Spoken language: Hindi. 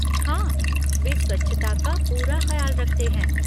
हाँ, वे स्वच्छता का पूरा खयाल रखते हैं।